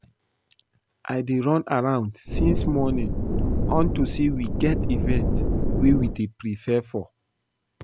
I dey run around since morning unto say we get event we dey prepare for